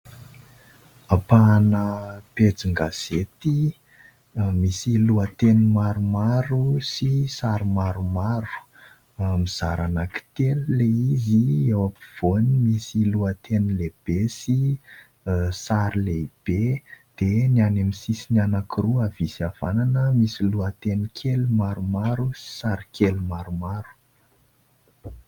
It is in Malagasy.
Ampahana pejin-gazety misy lohateny maromaro sy sary maromaro. Mizara anankitelo ilay izy , eo ampovoany misy lohateny lehibe sy sary lehibe dia ny any amin'ny sisiny anankiroa havia sy havanana misy lohateny kely maromaro sy sary kely maromaro.